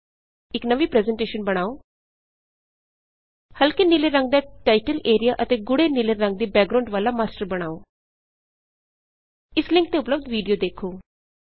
ਇਕ ਨਵੀਂ ਪ੍ਰੈਜ਼ੇਨਟੇਸ਼ਨ ਬਣਾਓ ਹਲਕੇ ਨੀਲੇ ਰੰਗ ਦਾ ਟਾਇਟਲ ਏਰਿਆ ਅਤੇ ਗੂੜ੍ਹੇ ਨੀਲੇ ਰੰਗ ਦੀ ਬੈਕਗ੍ਰਾਊਂਡ ਵਾਲਾ ਮਾਸਟਰ ਬਣਾਓ ਇਸ ਲਿੰਕ ਤੇ ਉਪਲਬੱਧ ਵੀਡੀਓ ਦੇਖੋ